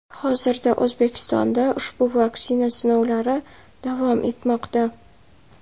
Hozirda O‘zbekistonda ushbu vaksina sinovlari davom etmoqda.